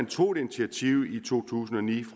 tog et initiativ i to tusind og ni